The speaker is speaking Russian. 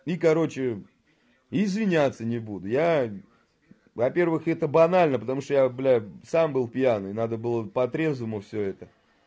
и короче извиняться не буду я во-первых это банально потому что я блядь сам был пьяный надо было по трезвому всё это